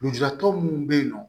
Lujuratɔ munnu be yen nɔ